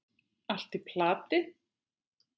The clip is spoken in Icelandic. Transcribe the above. Allt í plati!